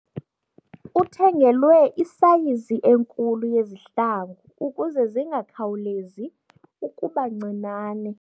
Uthengelwe isayizi enkulu yezihlangu ukuze zingakhawulezi ukuba ncinane.